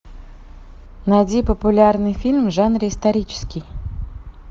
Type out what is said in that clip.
найди популярные фильмы в жанре исторический